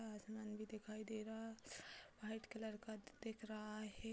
आसमान भी दिखाई दे रहा व्‍हाईट कलर का दिख रहा है ।